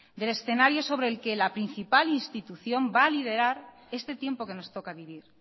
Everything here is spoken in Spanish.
del escenario sobre el que la principal institución va a liderar este tiempo que nos toca vivir